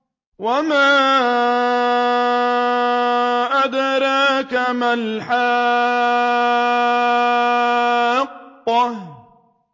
وَمَا أَدْرَاكَ مَا الْحَاقَّةُ